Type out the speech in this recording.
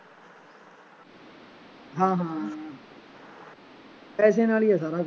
ਹਾਂ ਹਾਂ ਪੈਸਿਆਂ ਨਾਲ ਹੀ ਸਾਰਾ ਕੁੱਛ